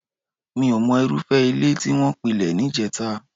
Mí ò mọ irúfẹ́ ilé tí wọ́n pilẹ̀ níjẹta